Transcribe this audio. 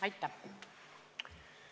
Aitäh!